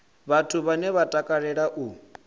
vhathu vhane vha takalea u